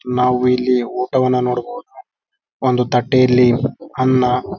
ನಾವು ಇಲ್ಲಿ ಊಟವನ್ನು ನೋಡಬಹುದು ಒಂದು ತಟ್ಟೆಯಲ್ಲಿ ಅನ್ನ --